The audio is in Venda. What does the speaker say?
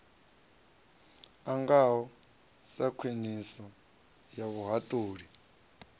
ngaho sa khwiniso ya vhuhaṱuli